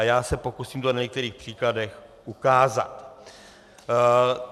A já se pokusím to na některých příkladech ukázat.